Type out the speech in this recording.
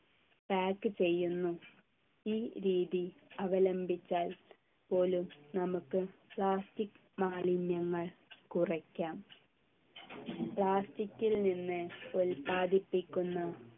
pack ചെയ്യുന്നു ഈ രീതി അവലംബിച്ചാൽ പോലും നമുക്ക് plastic മാലിന്യങ്ങൾ കുറയ്ക്കാം plastic ൽ നിന്ന് ഉത്പാദിപ്പിക്കുന്ന